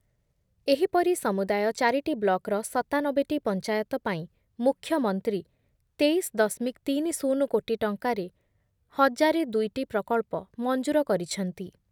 ଏହିପରି ସମୁଦାୟ ଚାରିଟି ବ୍ଲକର ସତାନବେଟି ପଞ୍ଚାୟତ ପାଇଁ ମୁଖ୍ୟମନ୍ତ୍ରୀ ତେଇଶ ଦଶମିକ ତିରିଶ କୋଟି ଟଙ୍କାରେ ଏକ ହଜାର ଦୁଇଟି ପ୍ରକଳ୍ପ ମଂଜୁର କରିଛନ୍ତି ।